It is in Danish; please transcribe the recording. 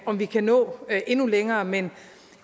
om vi kan nå endnu længere men